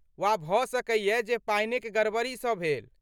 वा भऽ सकैयै जे पानिक गड़बड़ीसँ भेल।